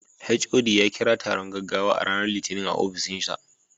HOD ya kira taron gaggawa a ranar Litinin a ofishinsa.